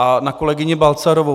A na kolegyni Balcarovou.